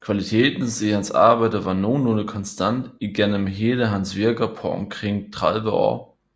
Kvalitetens i hans arbejde var nogenlunde konstant igennem hele hans virker på omkring 30 år